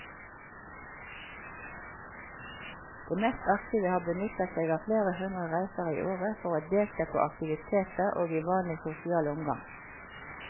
De mest aktive har benyttet seg av flere hundre reiser i året for å delta på aktiviteter og i vanlig sosial omgang.